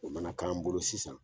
O nana k'an bolo sisan